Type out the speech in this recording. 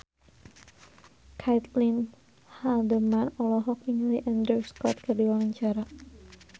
Caitlin Halderman olohok ningali Andrew Scott keur diwawancara